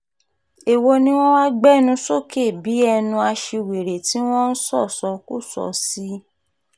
èwo ni wọ́n wáá gbénú sókè bíi ẹnu aṣiwèrè tí wọ́n ń ṣọ́ṣọ́kọ́so sí